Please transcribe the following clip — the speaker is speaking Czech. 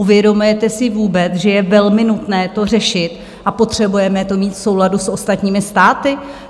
Uvědomujete si vůbec, že je velmi nutné to řešit, a potřebujeme to mít v souladu s ostatními státy?